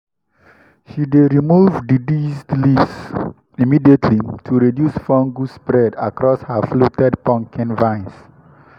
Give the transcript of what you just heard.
she dey remove diseased leaves immediately to reduce fungus spread across her fluted pumpkin vines.